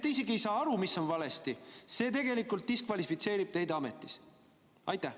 Te isegi ei saa aru, mis on valesti, ja see tegelikult diskvalifitseerib teid ametist.